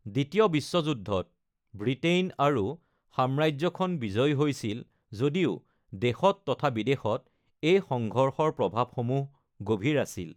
দ্বিতীয় বিশ্বযুদ্ধত ব্ৰিটেইন আৰু সাম্ৰাজ্যখন বিজয়ী হৈছিল যদিও, দেশত তথা বিদেশত এই সংঘৰ্ষৰ প্ৰভাৱসমূহ গভীৰ আছিল।